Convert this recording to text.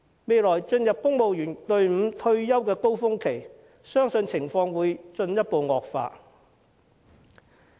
未來將會進入公務員隊伍退休的高峰期，相信情況會進一步惡化。